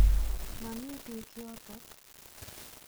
Mamii peek yotok .